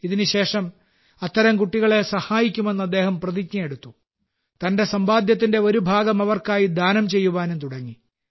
ഇതിനുശേഷം അത്തരം കുട്ടികളെ സഹായിക്കുമെന്ന് അദ്ദേഹം പ്രതിജ്ഞയെടുത്തു തന്റെ സമ്പാദ്യത്തിന്റെ ഒരു ഭാഗം അവർക്കായി ദാനം ചെയ്യുവാനും തുടങ്ങി